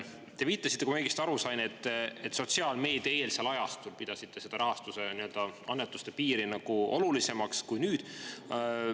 Te viitasite, kui ma õigesti aru sain, et sotsiaalmeediaeelsel ajastul oli see rahastuse, annetuste piir olulisem kui nüüd.